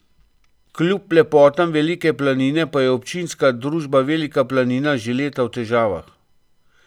Kljub lepotam Velike planine pa je občinska družba Velika planina, že leta v težavah.